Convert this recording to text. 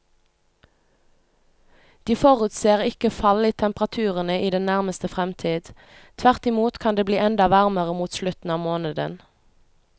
De forutser ikke fall i temperaturene i den nærmeste fremtid, tvert imot kan det bli enda varmere mot slutten av måneden.